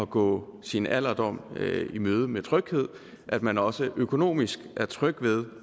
gå sin alderdom i møde med tryghed at man også økonomisk er tryg ved